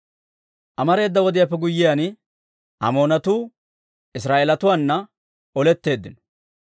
Amareeda wodiyaappe guyyiyaan, Amoonatuu Israa'eelatuwaana oletteeddino.